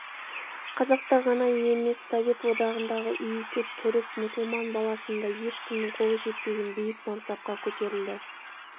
қазақта ғана емес совет одағындағы иісі түрік мұсылман баласында ешкімнің қолы жетпеген биік мансапқа көтерілді